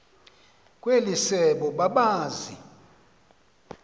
kweli sebe babazi